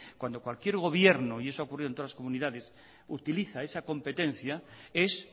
cuando cualquier gobierno y eso ha ocurrido en todas las comunidades utiliza esa competencia es